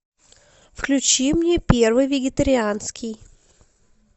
включи мне первый вегетарианский